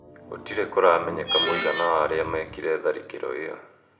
Gũtirĩ kũramenyeka mũigana wa arĩa mekire tharĩkĩro io.